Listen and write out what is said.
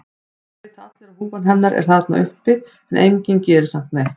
Það vita allir að húfan hennar er þarna uppi en enginn gerir samt neitt.